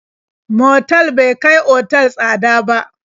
Motal bai kai otal tsada ba.